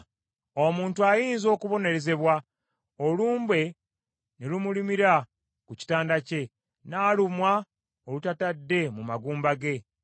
“Omuntu ayinza okubonerezebwa, olumbe ne lumulumira ku kitanda kye, n’alumwa olutatadde mu magumba ge,